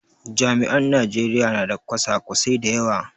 Jami'an Najeriya na da kwasa kwasai da yawa